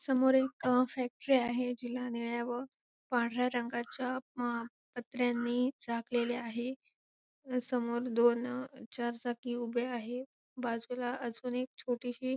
समोर एक फॅक्टरी आहे जीला निळ्या व पांढऱ्या रंगाच्या अ पत्र्यानी झाकलेली आहे समोर दोन चार चाकी उभ्या आहेत बाजूला अजून एक छोटीशी--